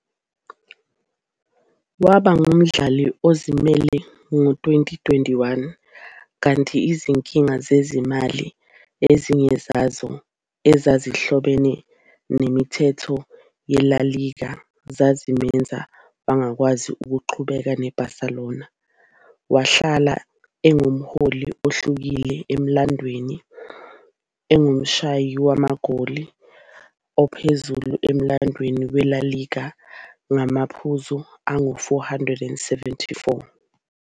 Waba ngumdlali ozimele ngo-2021, kanti izinkinga zezimali-ezinye zazo ezazihlobene nemithetho yeLa Liga-zamenza wangakwazi ukuqhubeka ne-Barcelona. Wahlala engumholi ohlukile emlandweni, engumshayi magoli ophezulu emlandweni weLa Liga ngamaphuzu angu-474.